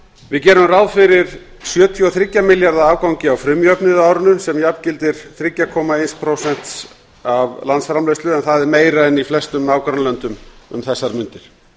við gerum ráð fyrir sjötíu og þriggja milljarða afgangi af frumjöfnuði árinu sem jafngildir þrjú komma eitt prósent af landsframleiðslu en það er meira en í flestum nágrannalöndum um þessar mundir